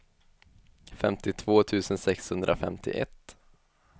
femtiotvå tusen sexhundrafemtioett